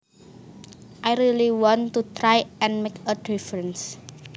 I really want to try and make a difference